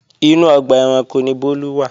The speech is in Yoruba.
Inú ọgbà ẹranko ni Bólú wà